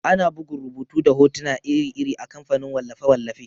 Ana bugun rubutu da hotuna iri-iri a kamfanin wallafe-wallafe.